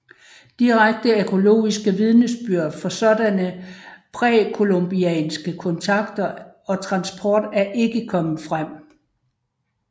Direkte arkæologisk vidnesbyrd for sådanne præcolumbianske kontakter og transport er ikke kommet frem